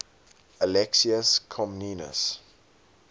alexius comnenus